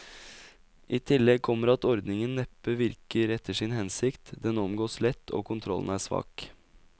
I tillegg kommer at ordningen neppe virker etter sin hensikt, den omgås lett, og kontrollen er svak.